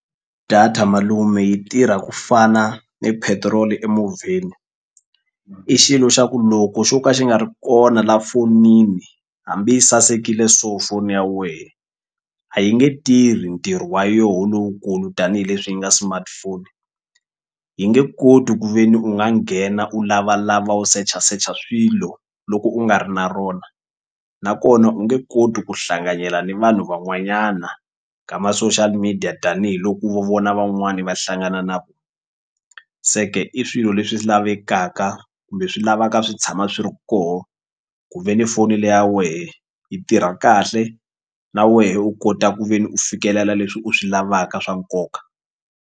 Data malume yi tirha ku fana ni petiroli emovheni i xilo xa ku loko xo ka xi nga ri kona la fonini hambi yi sasekile so foni ya wehe a yi nge tirhi ntirho wa yoho lowukulu tanihileswi yi nga smartphone yi nge koti ku ve ni u nga nghena u lavalava u sechasecha swilo loko u nga ri na rona nakona u nge koti ku hlanganyela ni vanhu van'wanyana ka ma-social media tanihiloko vona van'wani va hlangana na se ke i swilo leswi lavekaka kumbe swilavaka swi tshama swi ri koho ku ve ni foni leya wehe yi tirha kahle na wehe u kota ku ve ni u fikelela leswi u swi lavaka swa nkoka.